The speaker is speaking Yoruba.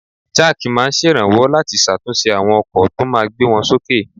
Jack máa ń ṣèrànwọ́ láti ṣàtúnṣe àwọn ọkọ̀ tó máa gbé wọn sókè